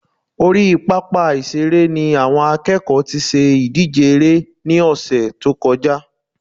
Orí pápá ìṣeré ni àwọn akẹ́kọ̀ọ́ tí ṣe ìdíje eré ní ọ̀sẹ̀ tó kọjá